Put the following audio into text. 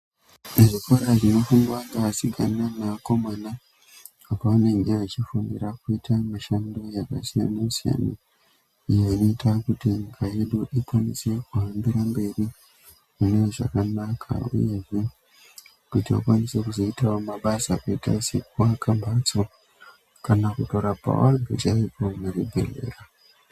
Muzvikoro zvinofundwa ngeasikana neakomana apo vanenge zvachifundira kuita mishando yakasiyana-siyana iyo inoita kuti nyika yedu ikwanise kuhambira mberi mune zvakanaka uyezve kuti vakwanise kuzoitawo mabasa akaita sekuaka mhatso kana kutorapawo vanhu chaivo kuzvibhehlera.